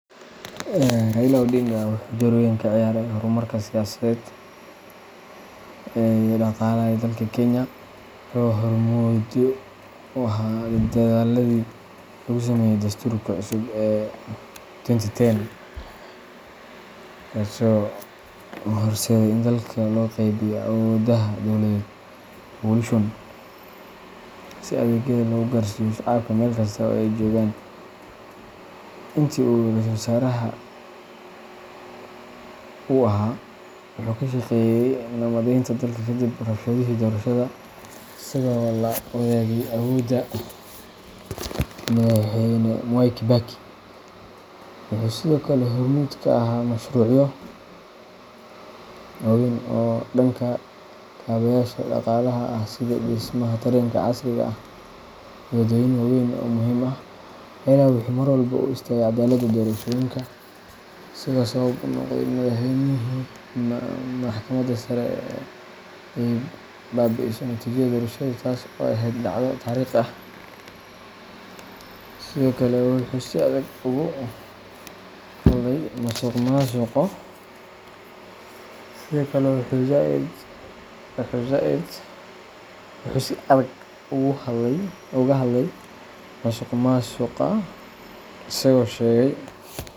Raila Odinga wuxuu door weyn ka ciyaaray horumarka siyaasadeed iyo dhaqaale ee dalka Kenya. Wuxuu hormuud u ahaa dadaalladii lagu sameeyay Dastuurka cusub ee 2010, kaasoo horseeday in dalka loo qaybiyo awoodaha dowladeed devolution, si adeegyada loogu gaarsiiyo shacabka meel kasta oo ay joogaan. Intii uu ahaa Ra’iisul Wasaare wuxuu ka shaqeeyay nabadaynta dalka kadib rabshadihii doorashada, isagoo la wadaagay awoodda Madaxweyne Mwai Kibaki. Wuxuu sidoo kale hormuud ka ahaa mashruucyo waaweyn oo dhanka kaabayaasha dhaqaalaha ah sida dhismaha tareenka casriga ah iyo waddooyin waaweyn oo muhiim ah. Raila wuxuu mar walba u istaagay caddaaladda doorashooyinka, isagoo sabab u noqday in Maxkamadda Sare ay baabi'iso natiijada doorashadii taas oo ahayd dhacdo taariikhi ah. Sidoo kale, wuxuu si adag uga hadlay musuqmaasuqa, isagoo sheegay.